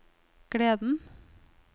gleden